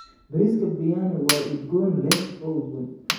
Bariiska biriyaani waa udgoon leh oo udgoon.